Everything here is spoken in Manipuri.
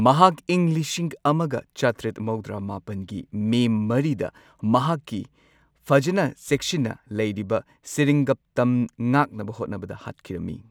ꯃꯍꯥꯛ ꯏꯪ ꯂꯤꯁꯤꯡ ꯑꯃꯒ ꯆꯥꯇ꯭ꯔꯦꯠ ꯃꯧꯗ꯭ꯔꯥ ꯃꯥꯄꯟꯒꯤ ꯃꯦ ꯃꯔꯤꯗ ꯃꯍꯥꯛꯀꯤ ꯐꯖꯅ ꯆꯦꯛꯁꯤꯟꯅ ꯂꯩꯔꯤꯕ ꯁꯦꯔꯤꯡꯒꯞꯇꯝ ꯉꯥꯛꯅꯕ ꯍꯣꯠꯅꯕꯗ ꯍꯥꯠꯈꯤꯔꯝꯃꯤ꯫